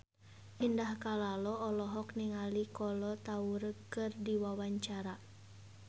Indah Kalalo olohok ningali Kolo Taure keur diwawancara